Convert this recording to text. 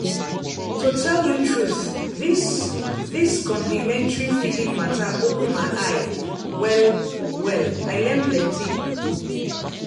to tell you truth this this complementary feeding matter open my eye well-well i learn plenty.